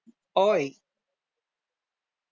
ओय